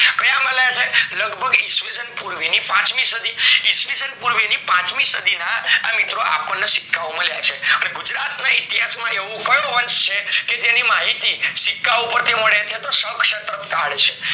લગભ ઈસ્વીસન પર્વે ની પાંચ મી સદી એસ્વીશન પૂર્વે ની પાંચના સદી ના આપણને સિક્કા ઓ માળિયા છે અને ગુજરાત ના ઈતિહાસ માં આવો કયો વંશ છે કે જેની માહિતી સિક્કા ઓ પરથી મળે છે તો શક શત્રક કાલ છે.